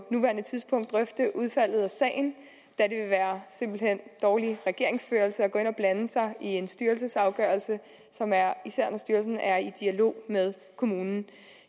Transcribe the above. nuværende tidspunkt drøfte udfaldet af sagen da det simpelt hen ville dårlig regeringsførelse at gå ind og blande sig i en styrelses afgørelse især når styrelsen er i dialog med kommunen